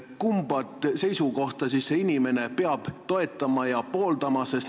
Kumba seisukohta see inimene peab toetama?